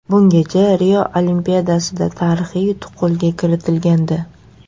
Bungacha Rio Olimpiadasida tarixiy yutuq qo‘lga kiritilgandi.